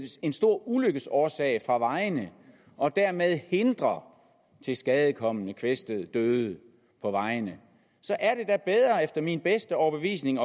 en stor ulykkesårsag fra vejene og dermed hindrer tilskadekomne kvæstede døde på vejene så er det da bedre efter min bedste overbevisning